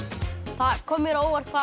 það kom mér á óvart hvað